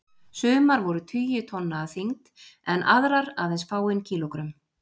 Sumar voru tugi tonna að þyngd en aðrar aðeins fáein kílógrömm.